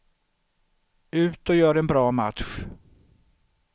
Ut och gör en bra match.